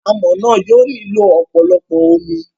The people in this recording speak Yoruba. Amọ̀ náà yóò nílò ọ̀pọ̀lọpọ̀ omi.